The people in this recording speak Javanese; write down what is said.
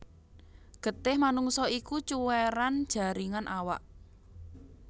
Getih manungsa iku cuwéran jaringan awak